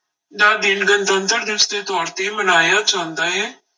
ਦਾ ਦਿਨ ਗਣਤੰਤਰ ਦਿਵਸ ਦੇ ਤੌਰ ਤੇ ਮਨਾਇਆ ਜਾਂਦਾ ਹੈ।